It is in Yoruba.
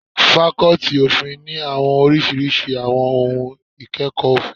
Fakọ́tì òfin ní àwọn oríṣiríṣi àwọn ohun ìkẹ́kọ̀ọ́ òfin.